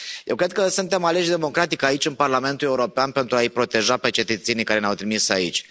Eu cred că suntem aleși democratic aici, în Parlamentul European, pentru a i proteja pe cetățenii care ne au trimis aici.